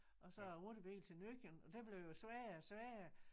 Og så æ rutebil til Nøkken og det blev jo sværere og sværere